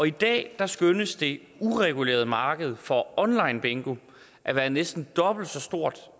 i dag skønnes det uregulerede marked for onlinebingo at være næsten dobbelt så stort